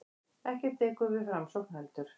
Ekkert dekur við framsókn heldur.